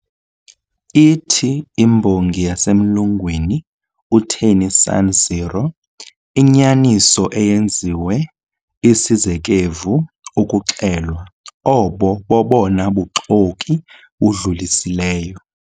Ithi imbongi yasemlungwini, uTennyson0, "Inyaniso eyenziwe isizekevu ukuxelwa, obo bobona buxoki budlulisileyo."